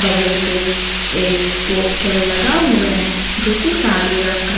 गल पे एक पोस्टर लगा हुआ है जोकि काले रंग का--